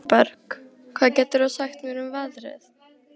Sæberg, hvað geturðu sagt mér um veðrið?